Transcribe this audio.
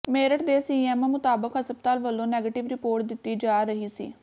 ਮੇਰਠ ਦੇ ਸੀਐਮਓ ਮੁਤਾਬਕ ਹਸਪਤਾਲ ਵੱਲੋਂ ਨੈਗੇਟਿਵ ਰਿਪੋਰਟ ਦਿੱਤੀ ਜਾ ਰਹੀ ਸੀ